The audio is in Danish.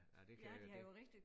Ja nej det kan jeg ikke det